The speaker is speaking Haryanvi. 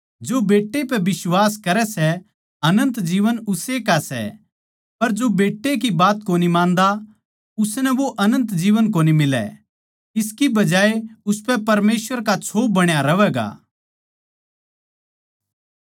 जो बेट्टै पै बिश्वास करै सै अनन्त जीवन उस्से का सै पर जो बेट्टै की बात कोनी मान्दा उसनै वो अनन्त जीवन कोनी मिलै इसकी बजाये उसपै परमेसवर का छो बण्या रहवैगा